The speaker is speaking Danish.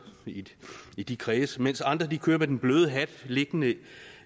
i de kredse mens andre kører med den bløde hat liggende